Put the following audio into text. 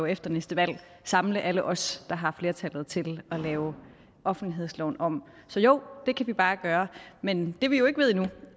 efter næste valg må samle alle os der har flertallet til at lave offentlighedsloven om så jo det kan vi bare gøre men det vi jo ikke ved endnu